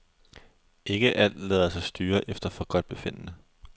Ikke alt lader sig styre efter forgodtbefindende.